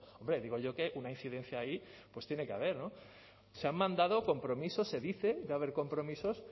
hombre digo yo que una incidencia ahí pues tiene que haber se han mandado compromisos se dice va a haber compromisos